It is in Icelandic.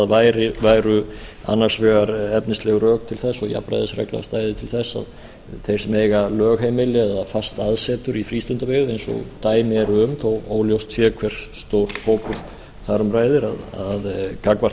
þær væru annars vegar efnisleg rök til þess og jafnræðisreglan stæði til þess að þeir sem eiga lögheimili eða fast aðsetur í frístundabyggð eins og dæmi eru um þó óljóst sé hver stór hópur þar um ræðir að gagnvart